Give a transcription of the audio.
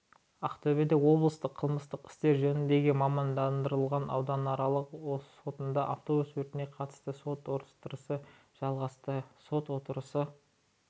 ақтөбе облыстық қылмыстық істер жөніндегі мамандандырылған ауданаралық сотында автобус өртіне қатысты сот отырысы жалғасты сот отырысы